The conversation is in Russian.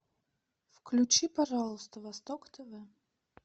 включи пожалуйста восток тв